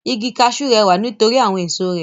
Igi kaṣú rẹwà nít'orí àwọn èso rẹ̀.